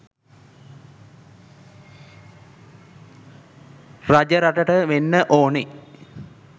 රජරටට වෙන්න ඕන